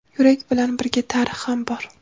yurak bilan birga tarix ham bor.